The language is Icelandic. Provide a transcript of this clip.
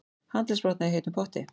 Handleggsbrotnaði í heitum potti